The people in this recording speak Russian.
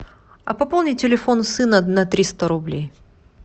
а пополни телефон сына на триста рублей